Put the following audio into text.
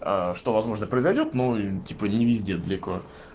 что возможно произойдёт но типа не везде далеко